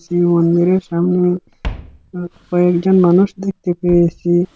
সেই মন্দিরের সামনে কয়েকজন মানুষ দেখতে পেয়েছি।